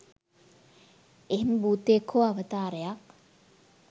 එහෙම භූතයෙක් හෝ අවතාරයක්